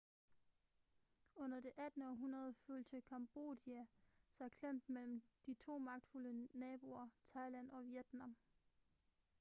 under det 18. århundrede følte cambodia sig klemt mellem de to magtfulde naboer thailand og vietnam